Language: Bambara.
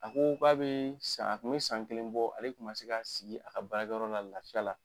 A ko k'a bɛ san a tun bɛ san kelen bɔ ale tun ma se ka sigi a ka baarayɔrɔ la lafiya la